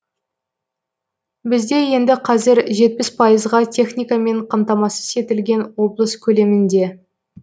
бізде енді қазір жетпіс пайызға техникамен қамтамасыз етілген облыс көлемінде